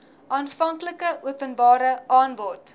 aanvanklike openbare aanbod